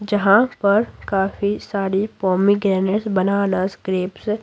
जहां पर काफी सारी पोमीग्रेनेट्स बनानास ग्रेप्स --